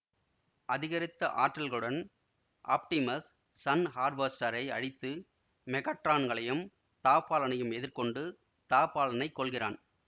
அதிகரித்த ஆற்றல்களுடன் Optimus sun ஹார்வெஸ்டாரை அழித்து மெகாட்ரானையும் த ஃபாலனையும் எதிர் கொண்டு த ஃபாலனை கொல்கிறான்